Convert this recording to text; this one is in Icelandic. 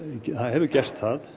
hefur gert það